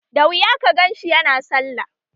Da wuya ka ganshi yana sallah